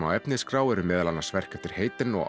á efnisskrá eru meðal annars verk eftir Haydn og